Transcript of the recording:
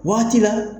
Waati la